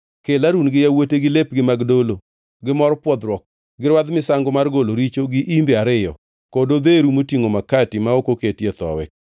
“Kel Harun gi yawuote gi lepgi mag dolo, gi mor pwodhruok, gi rwadh misango mar golo richo gi imbe ariyo, kod odheru motingʼo makati ma ok oketie thowi,